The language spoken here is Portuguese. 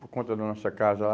por conta da nossa casa lá.